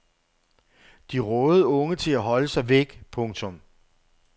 De rådede unge til at holde sig væk. punktum